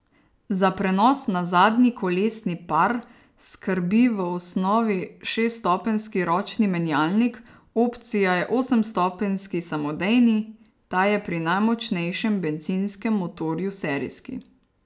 Za prenos na zadnji kolesni par skrbi v osnovi šeststopenjski ročni menjalnik, opcija je osemstopenjski samodejni, ta je pri najmočnejšem bencinskem motorju serijski.